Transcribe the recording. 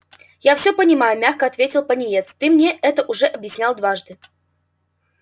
я всё понимаю мягко ответил пониет ты мне это уже объяснял дважды